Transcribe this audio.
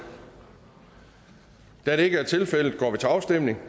da det ikke er tilfældet går vi til afstemning